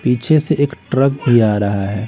पीछे से एक ट्रक भी आ रहा है।